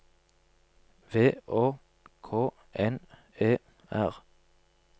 V Å K N E R